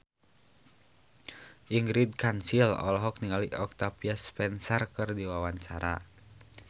Ingrid Kansil olohok ningali Octavia Spencer keur diwawancara